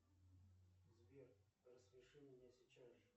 сбер рассмеши меня сейчас же